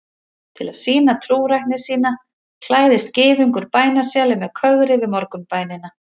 Til að sýna trúrækni sína klæðist gyðingur bænasjali með kögri við morgunbænina.